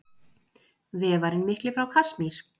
Vefarinn mikli frá Kasmír.